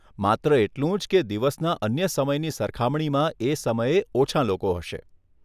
માત્ર એટલું જ કે દિવસના અન્ય સમયની સરખામણીમાં એ સમયે ઓછાં લોકો હશે.